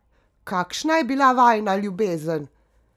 Kakšna je bila vajina ljubezen?